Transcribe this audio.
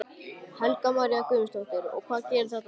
Helga María Guðmundsdóttir: Og hvað gerir þetta fólk?